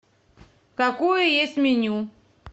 какое есть меню